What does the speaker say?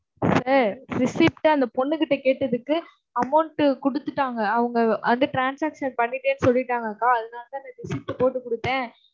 sir receipt அ அந்தப் பொண்ணுகிட்ட கேட்டதுக்கு, amount கொடுத்துட்டாங்க. அவங்க அந்த transaction பண்ணிட்டேன்னு சொல்லிட்டாங்கக்கா அதனாலதான் நான் receipt போட்டுக் கொடுத்தேன்.